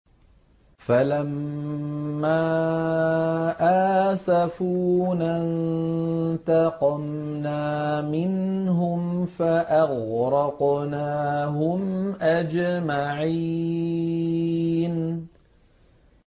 فَلَمَّا آسَفُونَا انتَقَمْنَا مِنْهُمْ فَأَغْرَقْنَاهُمْ أَجْمَعِينَ